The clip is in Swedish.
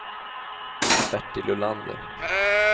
Bertil Olander